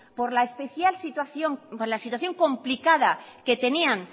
por la situación complicada que tenían